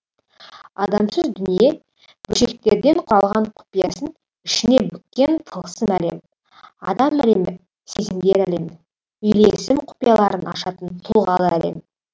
адамсыз дүние бөлшектерден құралған құпиясын ішіне бүккен тылсым әлем адам әлемі сезімдер әлемі үйлесім құпияларын ашатын тұлғалы әлем